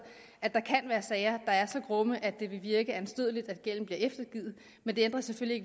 at der kan være sager der er så grumme at det vil virke anstødeligt at gælden bliver eftergivet men det ændrer selvfølgelig